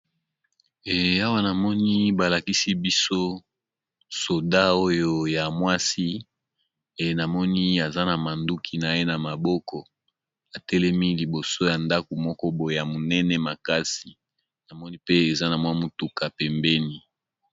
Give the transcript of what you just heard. Awa namoni balakisi biso soldat oyo ya mwasi namoni aza na munduki naye na maboko atelemi liboso ya ndako moko boye ya munene makasi namoni pe mutuka eza pembeni.